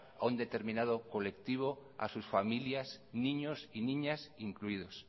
a un determinado colectivo a sus familias niños y niñas incluidos